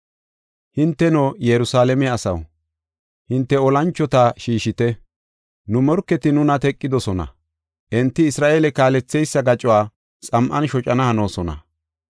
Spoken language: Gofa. Hinteno, Yerusalaame asaw, hinte olanchota shiishite! Nu morketi nuna teqidosona; enti Isra7eele kaaletheysa gacuwa xam7an shocana hanoosona.